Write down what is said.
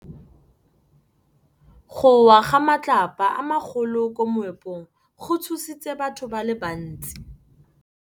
Go wa ga matlapa a magolo ko moepong go tshositse batho ba le bantsi.